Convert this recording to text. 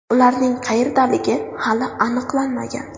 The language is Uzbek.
Ularning qayerdaligi hali aniqlanmagan.